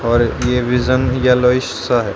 और ये vision yellowish सा है।